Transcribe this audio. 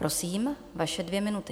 Prosím, vaše dvě minuty.